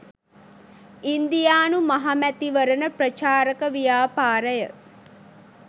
ඉන්දියානු මහමැතිවරණ ප්‍රචාරක ව්‍යාපාරය